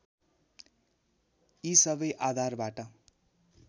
यी सबै आधारबाट